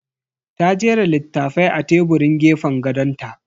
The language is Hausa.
Ta jera littafai a teburin gefen gadon ta.